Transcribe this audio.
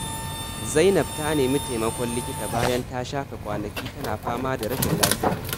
Zainab ta nemi taimakon likita bayan ta shafe kwanaki tana fama da rashin lafiya.